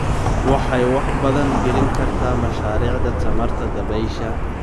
Waxay wax badan gelin kartaa mashaariicda tamarta dabaysha.